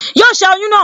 Yóò ṣẹ́ oyún náà